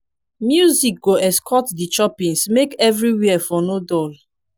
music go escort di choppings make evriwhere for no dull